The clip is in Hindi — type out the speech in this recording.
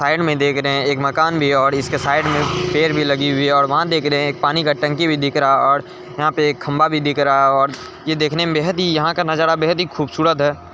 साइड में देख रहे है एक मकान भी और इसके साइड में पेड़ भी लगी हुई है और वहाँ देख रहे एक पानी का टंकी भी दिख रहा और वहां पर एक खम्बा भी दिख रहा और यहां का नजारा भी बेहत ही खूबसूरत है।